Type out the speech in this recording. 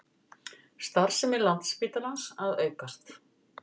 Starfsemi Landspítalans að aukast